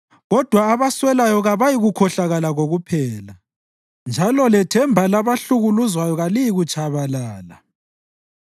Kodwa abaswelayo kabayikukhohlakala kokuphela, njalo lethemba labahlukuluzwayo kaliyikutshabalala.